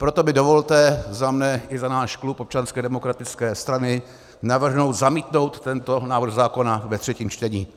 Proto mi dovolte za mne i za náš klub Občanské demokratické strany navrhnout zamítnout tento návrh zákona ve třetím čtení.